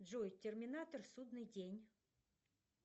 джой терминатор судный день